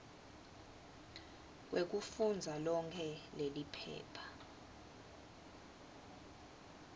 kwekufundza lonkhe leliphepha